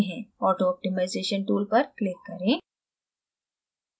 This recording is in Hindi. auto optimization tool पर click करें